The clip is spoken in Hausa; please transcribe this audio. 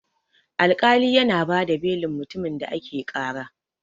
Alkali yana bada belin mutumin da ake ƙara.